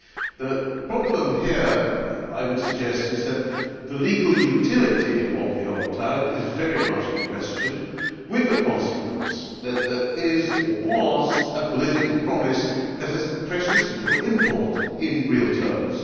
The problem here, I would suggest, is that the legal utility of the opt out is very much in question, with the consequence that there is, or was, a political promise that has precious little import in real